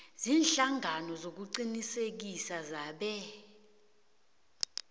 ziinhlangano zokuqinisekisa zebee